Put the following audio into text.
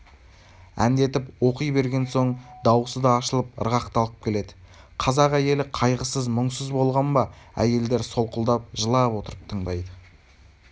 әндетіп оқи берген соң даусы да ашылып ырғақталып келеді қазақ әйелі қайғысыз-мұңсыз болған ба әйелдер солқылдап жылап отырып тыңдайды